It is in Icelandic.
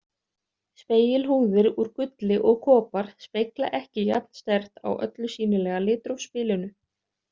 Spegilhúðir úr gulli og kopar spegla ekki jafnsterkt á öllu sýnilega litrófsbilinu.